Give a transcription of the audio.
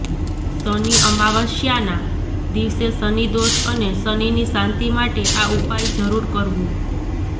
શનિ અમાવસ્યાના દિવસે શનિ દોષ અને શનિની શાંતિ માટે આ ઉપાય જરૂર કરવું